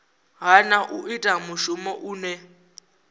hana u ita mushumo une